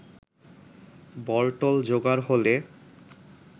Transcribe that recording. বলটল জোগাড় হলে